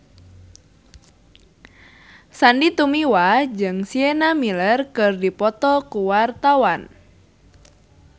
Sandy Tumiwa jeung Sienna Miller keur dipoto ku wartawan